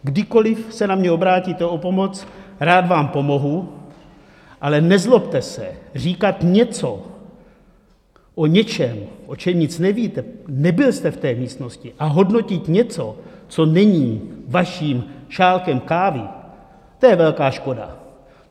Kdykoliv se na mě obrátíte o pomoc, rád vám pomohu, ale nezlobte se říkat něco o něčem, o čem nic nevíte, nebyl jste v té místnosti, a hodnotit něco, co není vaším šálkem kávy, to je velká škoda.